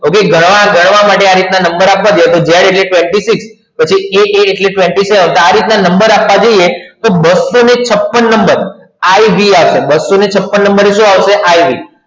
okay ગણવા માટે આવી રીતે નંબર આપવા જોઈએ જ્યારે practice હતી તો એ એટલે તારીખ અને નંબર આપવા જઈએ તો બસો છપણ નંબર ib ગયા છે તો બસો છપણ